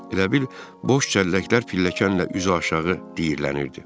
Elə bil boş çəlləklər pilləkənlə üzüaşağı diyirlənirdi.